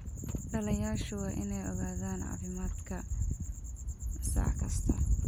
Dhallayaashu waa inay ogaadaan caafimaadka sac kasta.